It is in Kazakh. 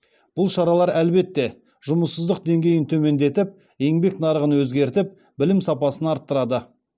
бұл шаралар әлбетте жұмыссыздық деңгейін төмендетіп еңбек нарығын өзгертіп білім сапасын арттырады